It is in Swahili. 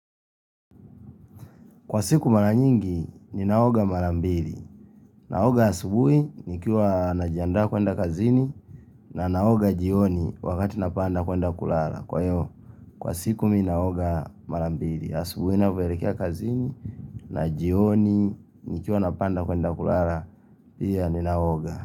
Kwa siku mara nyingi ni naoga mara mbili. Naoga asubui nikiwa najiandaa kwenda kazini na naoga jioni wakati napanda kwenda kulala. Kwa hivyo, kwa siku mimi naoga mara mbili. Asubui navyoeekia kazini na jioni nikiwa napanda kwenda kulala. Pia ni naoga.